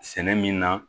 Sɛnɛ min na